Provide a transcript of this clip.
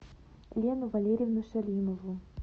лену валерьевну шалимову